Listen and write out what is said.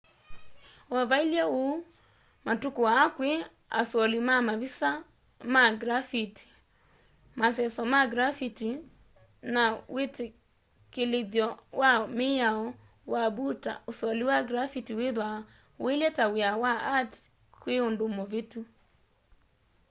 o vailye uu matuku aa kwi asoli ma mavisa ma grafiti maseso ma grafiti na witikilithyo wa miao wa mbuta usoli wa grafiti withwaa uilye ta wia wa art kwi undu muvitu